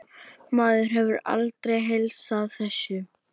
Maður hefur aldrei heilsað þessu.